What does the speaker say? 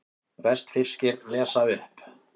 Vestfirskir lesa upp